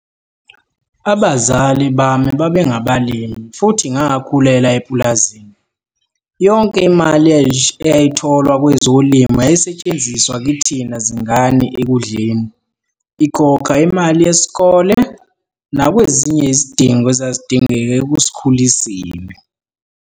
Abazali bami babengabalimi futhi ngakhulela epulazini. Yonke imali eyayitholwa kwezolimo yayisetshenziswa kithina zingane ekudleni, ikhokha imali yesikole, nakwezinye izidingo ezazidingeka ekusikhuliseni.